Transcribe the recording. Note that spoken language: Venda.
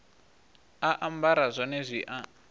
a ambara zwone zwi a